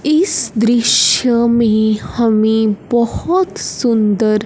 इस दृश्य में हमें बहोत सुंदर--